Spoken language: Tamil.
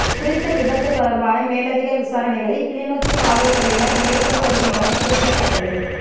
குறித்த விபத்து தொடர்பான மேலதிக விசாரணைகளை கிளிநொச்சி காவல்துறையினர் மேற்கொண்டு வருகின்றமை குறிப்பிடத்தக்கது